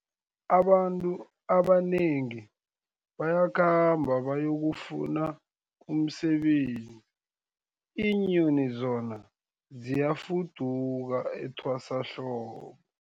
Abantu abanengi bayakhamba bayokufuna umsebenzi, iinyoni zona ziyafuduka etwasahlobo.